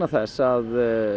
þess að